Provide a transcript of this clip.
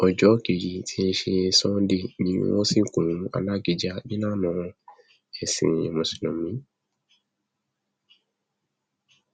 ọjọ kejì tí í ṣe sánńdẹ ni wọn sìnkú alákíjà nílànà ẹsìn mùsùlùmí